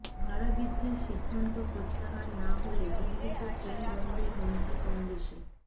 ভাড়াবৃদ্ধির সিদ্ধান্ত প্রত্যাহার না হলে দিল্লিতে ট্রেন বন্ধের হুমকি কংগ্রেসের